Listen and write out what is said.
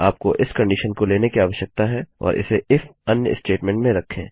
आपको इस कंडिशन को लेने की आवश्यकता है और इसे इफ अन्य स्टेटमेंट में रखें